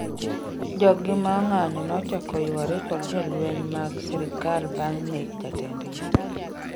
joggi maong'anjo nochako yware kod jolweny mag serikal bang' nek jatendgi